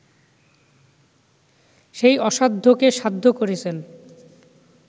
সেই অসাধ্যকে সাধ্য করেছেন